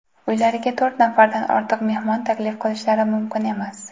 uylariga to‘rt nafardan ortiq mehmon taklif qilishlari mumkin emas.